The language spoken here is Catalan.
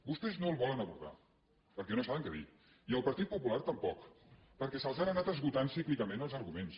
vostès no el volen abordar perquè no saben què dir i el partit popular tampoc perquè se’ls han anat esgotant cíclicament els arguments